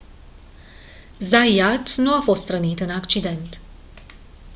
zayat nu a fost rănit în accident